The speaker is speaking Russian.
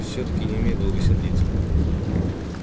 всё-таки не умею долго сердиться